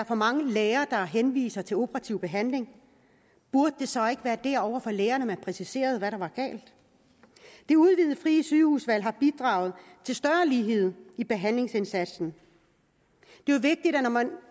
for mange læger der henviser til operativ behandling burde det så ikke være over for lægerne at man præciserede hvad der var galt det udvidede frie sygehusvalg har bidraget til større lighed i behandlingsindsatsen det er vigtigt at når man